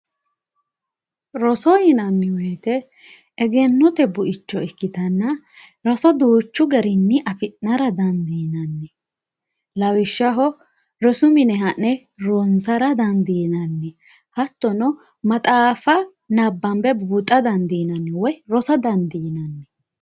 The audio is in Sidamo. roso yinanni woyte egennote buicho ikkitanna roso duuchu garinni afi'nara dandiinanni lawishshaho rosu mine ha'ne ronsara dandiinanni hattono maxaaffa nabbanbe buuxa dandiinanni woy rosa dandiinanni